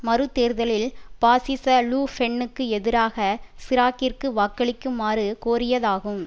மறு தேர்தலில் பாசிச லூ பென்னுக்கு எதிராக சிராக்கிற்கு வாக்களிக்குமாறு கோரியதாகும்